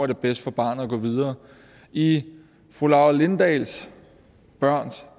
er bedst for barnet at gå videre i fru laura lindahls børns